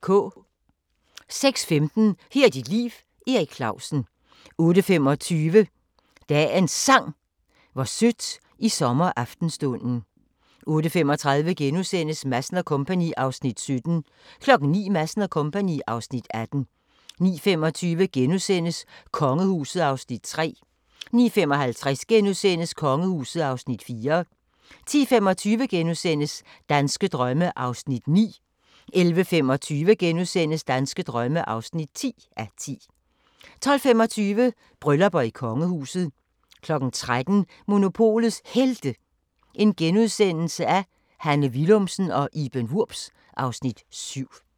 06:15: Her er dit liv – Erik Clausen 08:25: Dagens Sang: Hvor sødt i sommeraftenstunden 08:35: Madsen & Co. (Afs. 17)* 09:00: Madsen & Co. (Afs. 18) 09:25: Kongehuset (Afs. 3)* 09:55: Kongehuset (Afs. 4)* 10:25: Danske drømme (9:10)* 11:25: Danske drømme (10:10)* 12:25: Bryllupper i kongehuset 13:00: Monopolets Helte – Hanne Willumsen og Iben Wurbs (Afs. 7)*